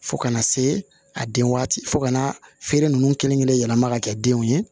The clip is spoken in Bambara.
Fo kana se a den waati fo ka na feere ninnu kelen kelen yɛlɛma ka kɛ denw ye